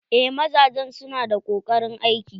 Eh mazajen su na da koƙarin aiki.